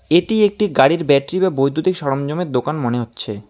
এটি একটি গাড়ির ব্যাটারি বা বৈদ্যুতিক সরঞ্জামের দোকান মনে হচ্ছে।